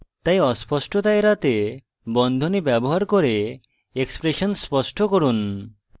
তাই অস্পষ্টতা এড়াতে বন্ধনী ব্যবহার করে এক্সপ্রেশন স্পষ্ট করুন